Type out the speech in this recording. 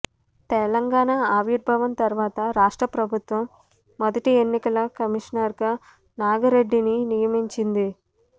తెలంగాణ ఆవిర్భావం తర్వాత రాష్ట్ర ప్రభుత్వం మొదటి ఎన్నికల కమిషనర్గా నాగిరెడ్డిని నియమించింది